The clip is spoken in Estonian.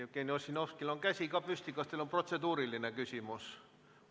Jevgeni Ossinovskil on käsi püsti, kas teil on protseduuriline küsimus?